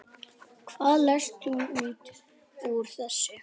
Hvað lest þú út úr þessu?